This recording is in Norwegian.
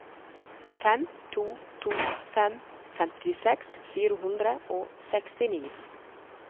fem to to fem femtiseks fire hundre og sekstini